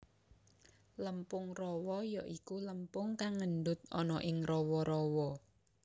Lempung rawa ya iku lempung kang ngendut ana ing rawa rawa